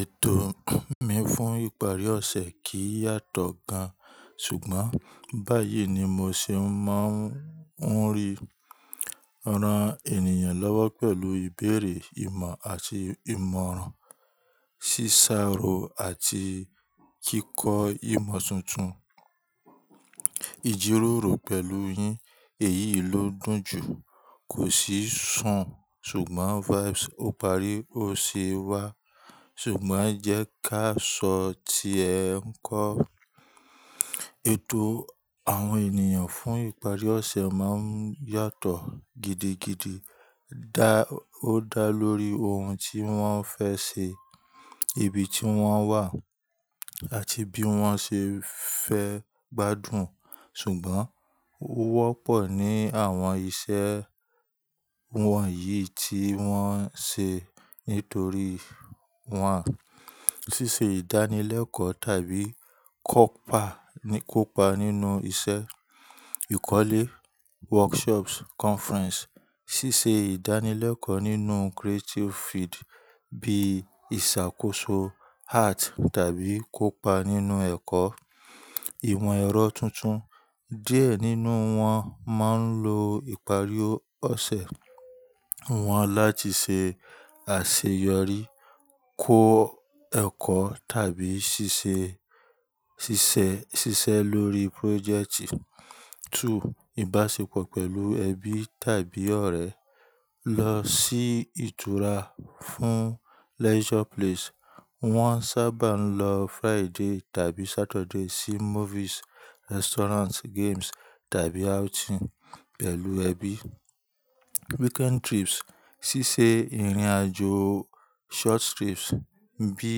Ètò mi fún ìparí ọ̀sẹ̀ kìí yàtọ̀ gan, ṣùgbọ́n báyìí ni mo ṣe máa ń ri ran ènìyàn lọ́wọ́ pẹ̀lú ìbéèrè, ìmọ̀ àti ìmọ̀ràn, ṣíṣàrò àti kíkọ ìmọ̀ tuntun. Ijiroro pẹ̀lú yín èyí ló dùn jù. Kò sí sun ṣùgbọ́n vibes ó parí ó sì wá. Ṣùgbọ́n jẹ́ ká sọ tí ẹ ń kọ. Ètò àwọn ènìyàn fún ìparí ọ̀sẹ̀ máa ń yàtọ̀ gidigidi. Dá, ó dá lórí ohun tí wọ́n fẹ́ ṣe, ibi tí wọ́n wà àti bí wọ́n ṣe fẹ́ gbádùn. Ṣùgbọ́n ó wọ́pọ̀ ní àwọn iṣẹ́ wọ̀nyí tí wọ́n ṣe nítorí wọ́n. Sísé ìdánilẹ́kọ̀ọ́ tàbí kópa, kópa nínú iṣẹ́, ìkọ́lé, workshops, conference. Sísé ìdánilẹ́kọ̀ọ́ nínú creative field bíi ìṣàkóso art tàbí kópa nínú ẹ̀kọ́, ìmọ̀ ẹ̀rọ tuntun. Diẹ nínú wọn máa ń lo ìparí ọ̀sẹ̀ wọn láti ṣe àṣeyọrí, kó ẹ̀kọ́ tàbí ṣiṣe, ṣiṣẹ́, ṣiṣẹ́ lórí project. Two, ìbáṣepọ̀ pẹ̀lú ẹbí tàbí ọ̀rẹ́. Lọ sí ìtura fún leisure place. Wọ́n sábà ń lọ Friday tàbí Saturday sí movies, restaurants, games tàbí outing pẹ̀lú ẹbí. Weekend trips, ṣíṣe ìrìnàjò short trips bí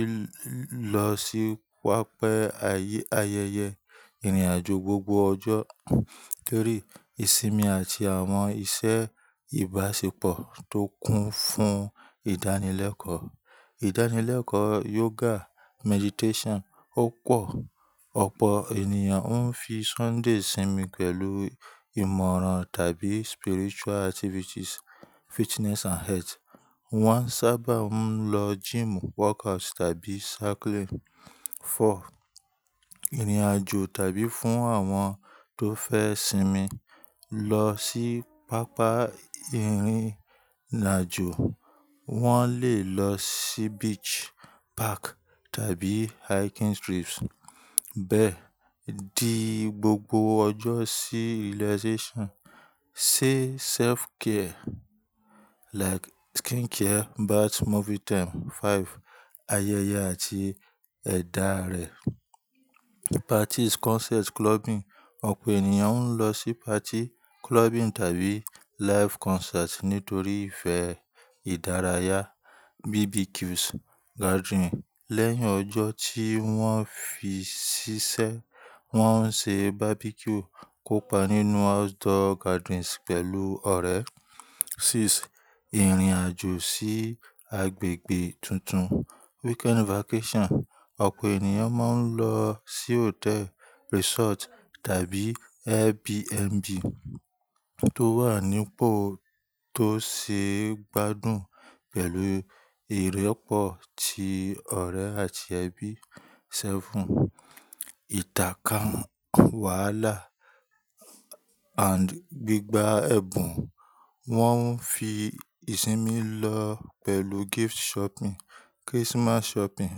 i lọ sí wápẹ́ ayẹ́, ayẹyẹ ìrìnàjò gbogbo ọjọ́. Three, ìsinmi àti àwọn iṣẹ́ ìbáṣepọ̀ tó kún fún ìdánilẹ́kọ̀ọ́. Ìdánilẹ́kọ̀ọ́ yoga, meditation. Ó pọ̀, ọ̀pọ̀ ènìyàn ń fi Sunday sinmi pẹ̀lú ìmọ̀ràn tàbí spiritual activities, fitness and health. Wọ́n sáabà ń lọ gym, workouts tàbí cycling. Four, ìrìnàjò tàbí fún àwọn tó fẹ́ sinmi. Lọ sí pápá ìrìnàjò. Wọ́n lè lọ sí beach, park tàbí hiking trips. Bẹ́ẹ̀ di gbogbo ọjọ́ sí relaxation. Say self care like skin care, bath, movie time. Five, ayẹyẹ àti ẹ̀dá rẹ̀. Parties, concerts, clubbing. Ọ̀pọ̀ ènìyàn ń lọ sí party, clubbing tàbí live concerts nítorí ìfẹ́ ìdárayá. BBQs, gathering. Lẹ́yìn ọjọ́ tí wọ́n fi ṣiṣẹ́, wọ́n ń ṣe barbecue kópa nínú outdoor gatherings pẹ̀lú ọ̀rẹ́. Six, ìrìnàjò sí agbègbè tuntun. Weekend vacation. Ọ̀pọ̀ ènìyàn máa ń lọ sí hotel, resort tàbí Airbnb tó wà nípò tó ṣe é gbádùn pẹ̀lú ìrẹ́pọ̀ ti ọ̀rẹ́ àti ẹbí. Seven, ìtàká wààlá and gbígba ẹ̀bùn. Wọ́n ń fi ìsinmi lọ pẹ̀lú gift shopping, Christmas shopping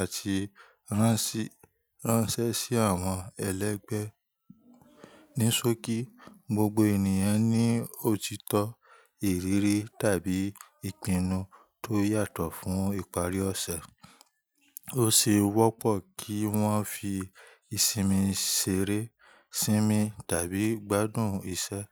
àti ránṣ, ránṣẹ́ sí àwọn ẹlẹ́gbẹ̀ẹ́. Ní sókí, gbogbo ènìyàn ní òtítọ́, ìrírí tàbí ìpinnu tó yàtọ̀ fún ìparí ọ̀sẹ̀. Ó sì wọ́pọ̀ kí wọ́n fi ìsinmi ṣeré, sinmi tàbí gbádùn iṣẹ́.